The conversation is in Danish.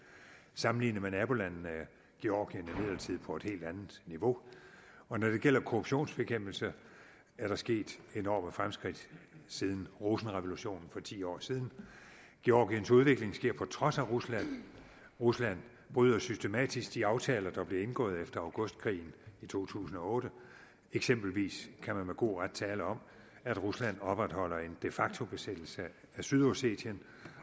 sammenlignet med nabolandene er georgien imidlertid på et helt andet niveau og når det gælder korruptionsbekæmpelse er der sket enorme fremskridt siden rosenrevolutionen for ti år siden georgiens udvikling sker på trods af rusland rusland bryder systematisk de aftaler der blev indgået efter augustkrigen i to tusind og otte eksempelvis kan man med god ret tale om at rusland opretholder en de facto besættelse af sydossetien